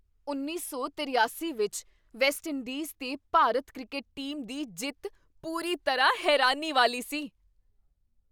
ਉੱਨੀ ਸੌ ਤਰਿਆਸੀ ਵਿਚ ਵੈਸਟਇੰਡੀਜ਼ 'ਤੇ ਭਾਰਤੀ ਕ੍ਰਿਕਟ ਟੀਮ ਦੀ ਜਿੱਤ ਪੂਰੀ ਤਰ੍ਹਾਂ ਹੈਰਾਨੀ ਵਾਲੀ ਸੀ!